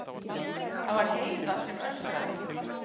Það var Heiða sem öskraði.